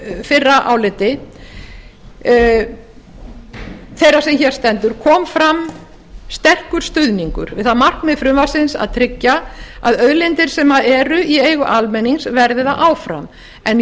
fyrra áliti þeirrar sem hér stendur kom fram sterkur stuðningur við það markmið frumvarpsins að tryggja að auðlindir sem eru í eigu almennings verði það áfram en